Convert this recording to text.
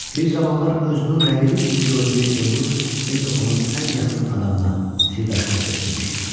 Bir zamanlar özünün rəqibi kimi gördüyü Elnur indi onun ən yaxın adamına, sirdaşına çevrilmişdi.